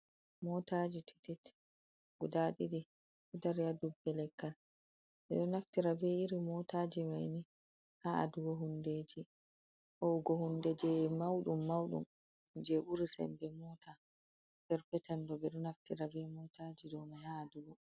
Motaji titit guda ɗiɗi ɗow dari ha dubbe leggal, ɓeɗo naftira be iri motaji maini ha adugo hundeji ho ugo hunde je mauɗum-mauɗum je ɓuri sembe mota perpel ɓeɗo naftira be motaji ɗow man ha adugo.